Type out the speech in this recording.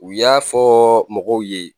U y'a fɔ mɔgɔw ye.